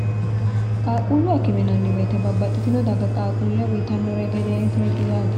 qaaquulluwa kimenanniweete babbaxxitino dagga qaaquulle uyitannore gedee tireti yaate